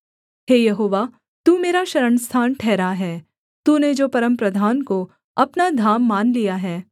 हे यहोवा तू मेरा शरणस्थान ठहरा है तूने जो परमप्रधान को अपना धाम मान लिया है